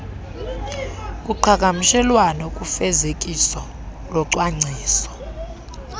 kuqhagamshelwano kufezekiso locwangciso